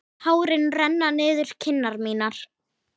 Tárin renna niður kinnar mínar.